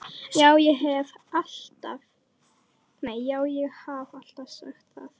Já, ég haf alltaf sagt það.